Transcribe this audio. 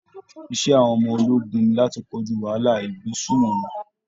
Iṣẹ́ àwọn ọmọ ológun ni láti kojú wàhálà ìgbésùnmọ̀mí